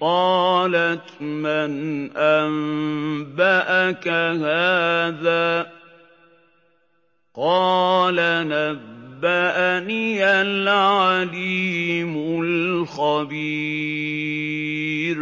قَالَتْ مَنْ أَنبَأَكَ هَٰذَا ۖ قَالَ نَبَّأَنِيَ الْعَلِيمُ الْخَبِيرُ